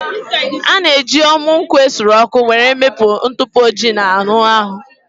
A na-eji ọmụ nkwụ esuru ọkụ were ewepụ ntụpọ ojii na anụ ahụ